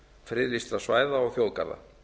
friðlýstra svæða og þjóðgarða